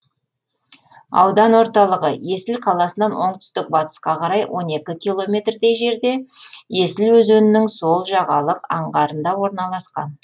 аудан орталығы есіл қаласынан оңтүстік батысқа қарай он екі километрдей жерде есіл өзенінің сол жағалық аңғарында орналасқан